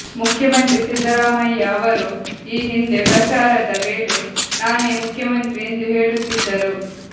ಮುಖ್ಯಮಂತ್ರಿ ಸಿದ್ದರಾಮಯ್ಯ ಅವರು ಈ ಹಿಂದೆ ಪ್ರಚಾರದ ವೇಳೆ ನಾನೇ ಮುಖ್ಯಮಂತ್ರಿ ಎಂದು ಹೇಳುತ್ತಿದ್ದರು